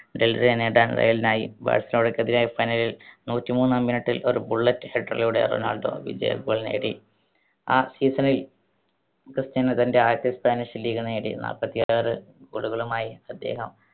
നേടാൻ റയലിനായി. ബാർസലോണയ്‌ക്കെതിരായ final ൽ നൂറ്റിമൂന്നാം minute ൽ ഒരു bullet header ലൂടെ റൊണാൾഡോ വിജയ goal നേടി. ആ season ൽ ക്രിസ്റ്റ്യാനോ തൻ്റെ ആദ്യത്തെ സ്പാനിഷ് league നേടി. നാല്പത്തിയാറ്‌ goal കളുമായി അദ്ദേഹം